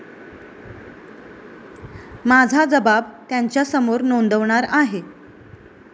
माझा जबाब त्यांच्यासमोर नोंदवणार आहे.